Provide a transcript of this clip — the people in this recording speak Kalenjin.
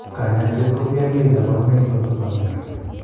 kanyaiset kotien gee kobarunaik choton chebo myondo